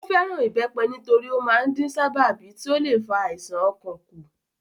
Ó fẹ́ràn ìbẹ́pẹ nítorí ó máa ń dín sábàbí tí ó le fa àisàn ọkàn kù